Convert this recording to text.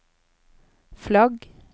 flagg